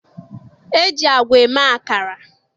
E ji agwa eme akara.